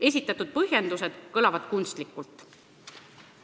Esitatud põhjendused kõlavad kunstlikult.